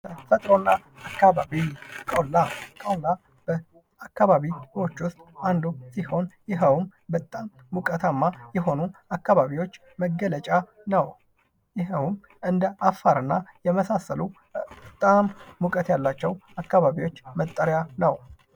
ተፈጥሮና አካባቢ ቆላ። ቆላ በአካባቢዎች ውስጥ አንዱ ሲሆን ይኸውም በጣም ሞቃታማ የሆኑ አካባቢዎች መገለጫ ነው። ይኸውም እንደ አፋርና የመሳሰሉ በጣም እውቀት ያላቸው አካባቢዎች መጠሪያ ነው።